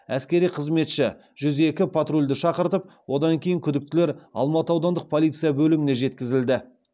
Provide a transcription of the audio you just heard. әскери қызметші жүз екі патрульді шақыртып одан кейін күдіктілер алматы аудандық полиция бөліміне жеткізілді